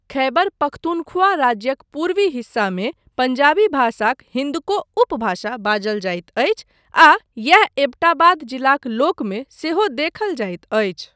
ख़ैबर पख़्तूनख़्वा राज्यक पूर्वी हिस्सामे पंजाबी भाषाक हिन्दको उपभाषा बाजल जाइत अछि आ एही ऐब्टाबाद जिलाक लोकमे सेहो देखल जाइत अछि।